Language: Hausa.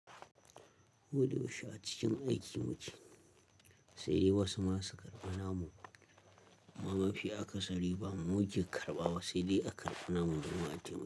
Koda yaushe acikin aiki mu ke, saidai wasu ma su karɓi namu. Mama shi aka sari ba mu je karɓawa, sai dai aka karɓi namu domin wata mutum.